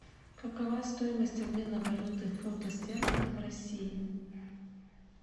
какова стоимость обмена валюты фунта стерлинга в россии